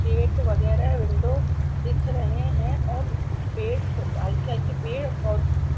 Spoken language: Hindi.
गेट वगैरह विंडो दिख रहे हैं और पेड हल्के हल्के पेड़--